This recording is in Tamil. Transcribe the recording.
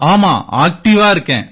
ஆமாம் ஆக்டிவா இருக்கேன்